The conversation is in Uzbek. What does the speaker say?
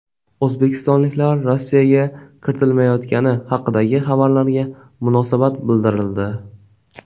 O‘zbekistonliklar Rossiyaga kiritilmayotgani haqidagi xabarlarga munosabat bildirildi.